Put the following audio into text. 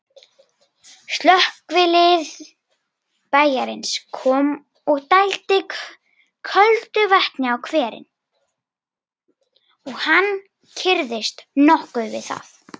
Slökkvilið bæjarins kom og dældi köldu vatni á hverinn, og hann kyrrðist nokkuð við það.